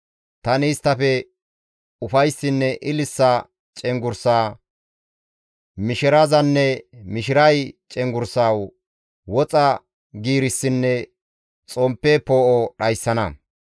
Tani isttafe ufayssinne ililisa cenggurssa, mishirazanne mishiray cenggurssa, woxa giirissinne xomppe poo7o dhayssana.